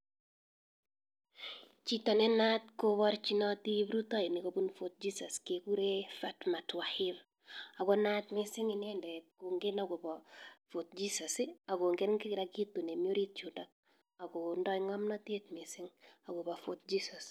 Chito ne naatat kobarchinati kiprutoinik kobun Fort jesus kekuree Fartmat wahir akonaat missng inendet kogen akopa fort jesus akongen kila kitu nee mii orit yundak akodai ngamnatet missing akopa fort jesus